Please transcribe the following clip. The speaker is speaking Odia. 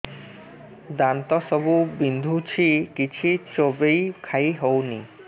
ଦାନ୍ତ ସବୁ ବିନ୍ଧୁଛି କିଛି ଚୋବେଇ ଖାଇ ହଉନି